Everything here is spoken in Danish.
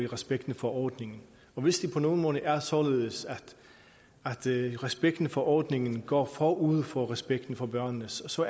respekten for ordningen og hvis det på nogen måde er således at respekten for ordningen går forud for respekten for børnene så så